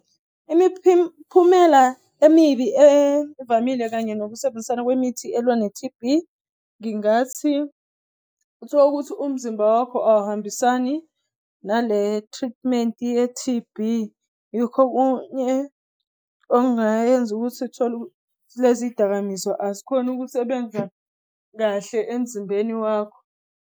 Imiphumela emibi evamile kanye nokusebenzisana kwemithi elwa ne-T_B, ngingathi uthola ukuthi umzimba wakho awuhambisani nale-treatment ye-T_B. Yikho okunye okungayenza ukuthi uthole lezi dakamizwa azikhoni ukusebenza kahle emzimbeni wakho.